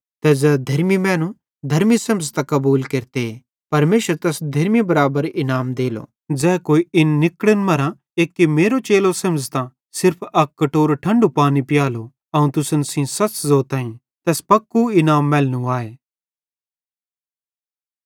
ज़ै कोई इन निकड़न मरां एक्की मेरो चेलो बुझ़तां सिर्फ अक कटोरो ठंढू पानी पियालो अवं तुसन सेइं सच़ ज़ोताईं तैस पक्कू इनाम मैलनू आए